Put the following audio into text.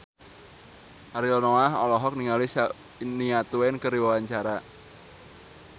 Ariel Noah olohok ningali Shania Twain keur diwawancara